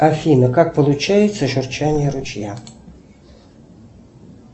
афина как получается журчание ручья